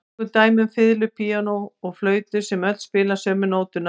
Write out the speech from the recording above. Tökum dæmi um fiðlu, píanó og flautu sem öll spila sömu nótuna.